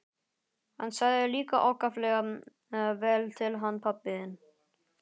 Hann sagði líka ákaflega vel til hann pabbi þinn.